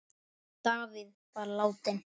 Davíð var látinn.